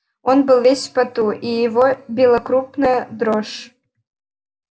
он был весь в поту и его била крупная дрожь